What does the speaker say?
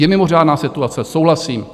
Je mimořádná situace, souhlasím.